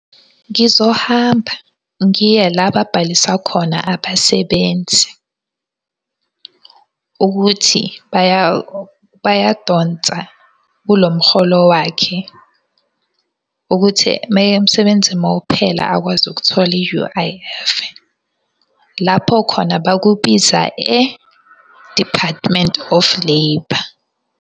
Ngizohamba ngiye la babhalisa khona abasebenzi. Ukuthi bayadonsa kulo mholo wakhe. Ukuthi umsebenzi mawuphela akwazi ukuthola i-U_I_F. Lapho khona bakubiza e-Department of Labour.